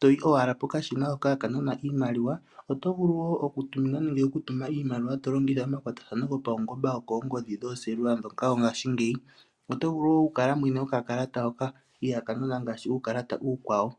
to yi owala pokashina hoka haka nana iimaliwa. Oto vulu wo okutuminwa nenge okutuma iimaliwa to longitha omakwatathano gopaungomba gokoongodhi dhooselula ndhoka dhongashingeyi. Oto vulu wo okukala mwene gwokakalata hoka ihaaka nana ngaashi uukalata uukwawo.